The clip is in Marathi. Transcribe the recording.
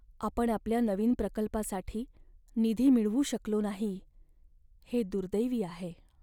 आपण आपल्या नवीन प्रकल्पासाठी निधी मिळवू शकलो नाही हे दुर्दैवी आहे.